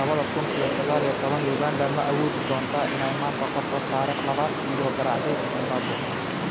laba kuun iyo sagal iyo tobaan: Uganda ma awoodi doontaa inay maanta qorto taariikhda labaad iyadoo garaacday Zimbabwe?